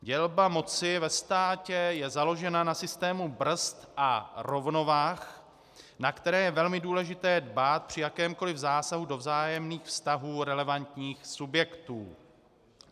Dělba moci ve státě je založena na systému brzd a rovnovah, na které je velmi důležité dbát při jakémkoliv zásahu do vzájemných vztahů relevantních subjektů.